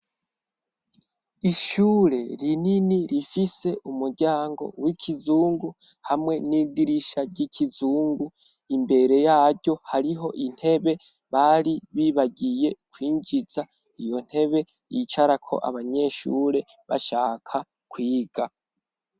ishure rinini rifise umuryango w'ikizungu hamwe n'idirisha ry'ikizungu imbere yaryo hariho intebe bari bibagiye kwinjiza iyo ntebe yicarako abanyeshure bashaka kwiga.